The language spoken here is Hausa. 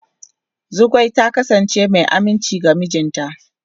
Zugwai ta kasance mai aminci ga mijinta.